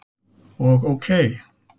og OK.